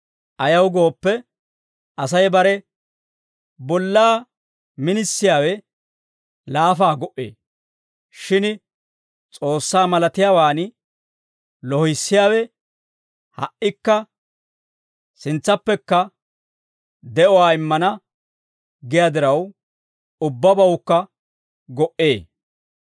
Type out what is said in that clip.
Ayaw gooppe, Asay bare bollaa minisiyaawe laafa go"ee. Shin S'oossaa malatiyaawaan loohissiyaawe ha"ikka sintsappekka de'uwaa immana giyaa diraw, ubbabawukka go"ee.